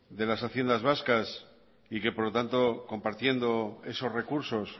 de las haciendas vascas y que por lo tanto compartiendo esos recursos